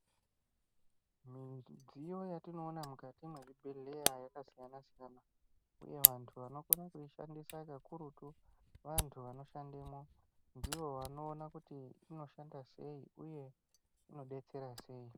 Midziyo yatinoona mukati mwezvibhedhleya yakasiyana-siyana, uye vantu vanokona kuishandisa kakurutu vantu vanoshandemo. Ndivo vanoona kuti inoshanda sei, uye inodetsera sei.